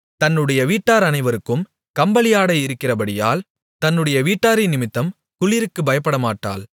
தன்னுடைய வீட்டார் அனைவருக்கும் கம்பளி ஆடை இருக்கிறபடியால் தன்னுடைய வீட்டாரினிமித்தம் குளிருக்குப் பயப்படமாட்டாள்